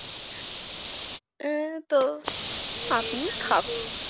উম তো